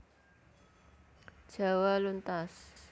Jawa luntas